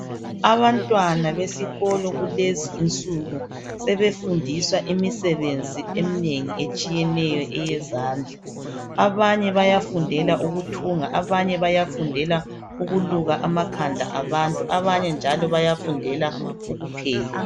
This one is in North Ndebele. Abantwana besikolo kulezinsuku sebefundisa imisebenzi eminengi etshiyeneyo eyezandla abanye bayafundela ukuthunga abanye bayafundela ukuluka amakhanda abantu abanye njalo bayafundela ukupheka.